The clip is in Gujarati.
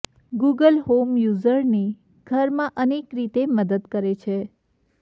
ગૂગલ હોમ યૂઝરને ઘરમાં અનેક રીતે મદદ કરે છે